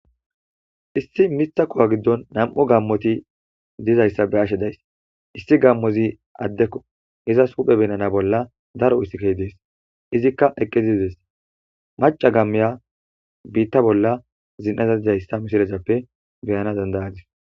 Issi mithakowa giddon nam7u gammoti dizayssa be ashe days issi gammozi addekko izas huphe benana bolla daro issikey dees izikka eqqe dizidees maca gammiya biitta bolla zin7aza dizayssa mishirehappe beyana dandayadis.